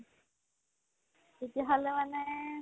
তেতিয়াহ'লে মানে